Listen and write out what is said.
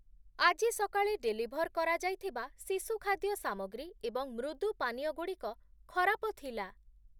ଆଜି ସକାଳେ ଡେଲିଭର୍ କରାଯାଇଥିବା ଶିଶୁ ଖାଦ୍ୟ ସାମଗ୍ରୀ ଏବଂ ମୃଦୁ ପାନୀୟ ଗୁଡ଼ିକ ଖରାପ ଥିଲା ।